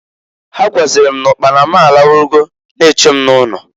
Ha gwazịrị m n'ụkpana m alarugo na-eche m n'ụlọ.